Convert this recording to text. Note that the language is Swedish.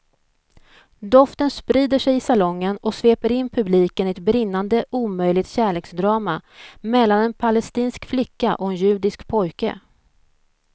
Doften sprider sig i salongen och sveper in publiken i ett brinnande omöjligt kärleksdrama mellan en palestinsk flicka och en judisk pojke.